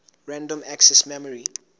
random access memory